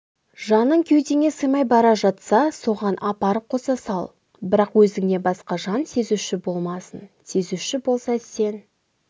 жаның кеудеңе сыймай бара жатса соған апарып қоса сал бірақ өзіңнен басқа жан сезуші болмасын сезуші болса сен